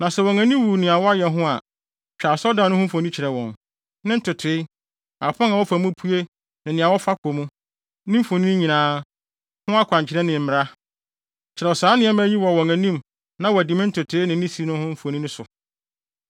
na sɛ wɔn ani wu nea wɔayɛ ho a, twa asɔredan no mfoni kyerɛ wɔn; ne ntotoe, apon a wɔfa mu pue ne nea wɔfa kɔ mu, ne mfoni nyinaa, ho akwankyerɛ nyinaa ne mmara. Kyerɛw saa nneɛma yi wɔ wɔn anim na wɔadi me ntotoe ne ne si no mfoni no so.